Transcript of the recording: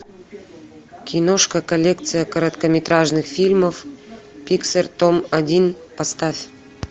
киношка коллекция короткометражных фильмов пиксар том один поставь